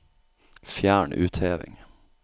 Fjern utheving